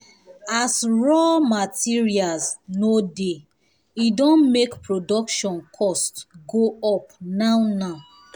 as raw materials no dey edon make production cost um go up now now